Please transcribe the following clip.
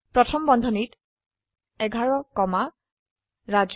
প্ৰথম বন্ধনীত 11 কমা ৰাজু